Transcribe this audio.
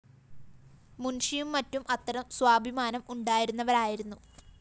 മുന്‍ഷിയും മറ്റും അത്തരം സ്വാഭിമാനം ഉണ്ടായിരുന്നവരായിരുന്നു